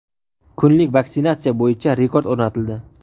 kunlik vaksinatsiya bo‘yicha rekord o‘rnatildi.